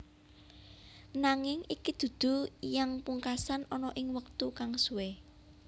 Nanging iki dudu yang pungkasan ana ing wektu kang suwe